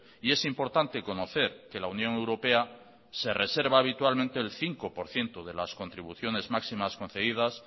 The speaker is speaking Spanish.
y es importante conocer que la unión europea se reserva habitualmente el cinco por ciento de las contribuciones máximas concedidas